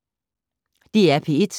DR P1